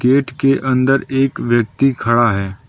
Gate के अंदर एक व्यक्ति खड़ा है।